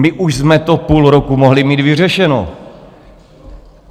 My už jsme to půl roku mohli mít vyřešeno.